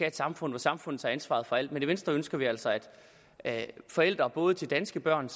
et samfund hvor samfundet tager ansvar for alt men i venstre ønsker vi altså at forældre både til danske børn